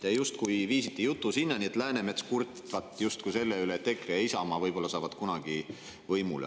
Te justkui viisite jutu sinna, et Läänemets kurtvat justkui selle üle, et EKRE ja Isamaa saavad võib-olla kunagi võimule.